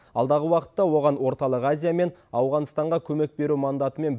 алдағы уақытта оған орталық азия мен ауғанстанға көмек беру мандатымен